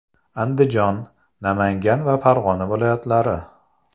Andijon, Namangan va Farg‘ona viloyatlari.